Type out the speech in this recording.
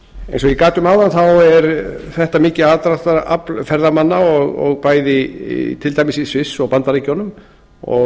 eins og ég gat um áðan er þetta mikið aðdráttarafl ferðamanna til dæmis í sviss og bandaríkjunum og